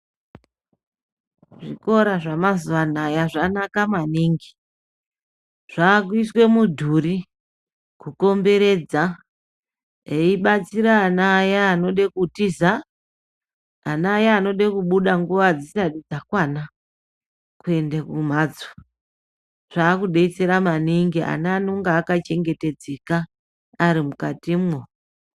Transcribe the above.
Zvikora zvemazuwa anaya zvanaka maningi, zvakuyiswe mudhuri kukomberedza eyibatsira ana aya anode kutiza, ana aya anode kubuda nguva dzisati dzakwana kuende kumhatso, zvakudetsera maningi ana anonga aka chengetedzeka ari mukatimwo.